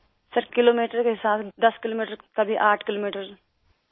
سر kilometre کا حساب 10 kilometre کبھی 8 کلومیٹر